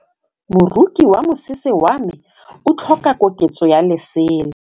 Moroki wa mosese wa me o tlhoka koketsô ya lesela.